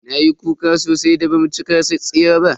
Nayi kuka sosai da ba mu ci gasar tsere ba.